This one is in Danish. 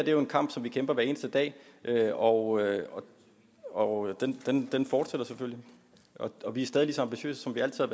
er en kamp som vi kæmper hver eneste dag og og den fortsætter selvfølgelig og vi er stadig lige så ambitiøse som vi altid